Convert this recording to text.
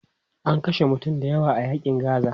An kashe mutane dayawa a yaƙin Gaza.